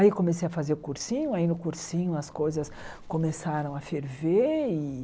Aí eu comecei a fazer o cursinho, aí no cursinho as coisas começaram a ferver e.